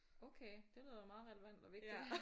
Okay det lyder da meget relevant og vigtigt